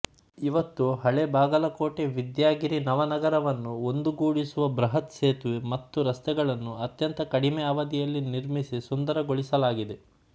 ಇವತ್ತು ಹಳೆ ಬಾಗಲಕೋಟವಿದ್ಯಾಗಿರಿನವನಗರವನ್ನು ಒಂದುಗೂಡಿಸುವ ಬೃಹತ್ತ ಸೇತುವೆ ಮತ್ತು ರಸ್ತೆಗಳನ್ನು ಅತ್ಯಂತ ಕಡಿಮೆ ಅವಧಿಯಲ್ಲಿ ನಿರ್ಮಿಸಿ ಸುಂದರಗೊಳಿಸಲಾಗಿದೆ